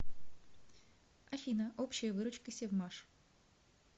афина общая выручка севмаш